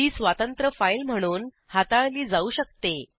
ही स्वतंत्र फाईल म्हणून हाताळली जाऊ शकते